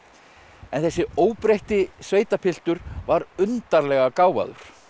en þessi óbreytti sveitapiltur var undarlega gáfaður